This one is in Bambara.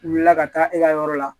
Wulila ka taa e ka yɔrɔ la